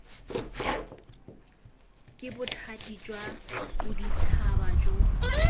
ke bothati jwa boditšhaba jo